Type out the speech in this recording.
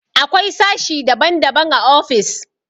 Akwai sashi daban-daban a ofis.